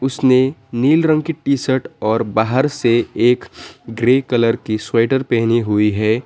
उसने नील रंग की शर्ट और बाहर से एक ग्रे कलर की स्वेटर पहनी हुई है।